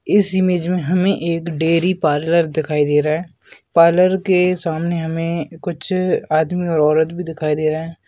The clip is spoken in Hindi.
इस इमेज मे हमें एक डेअरी पार्लर दिखाई दे रहा है पार्लर के सामने हमें कुछ आदमी और औरत भी दिखाई दे रहे है।